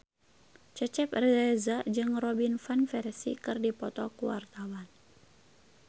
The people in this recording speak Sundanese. Cecep Reza jeung Robin Van Persie keur dipoto ku wartawan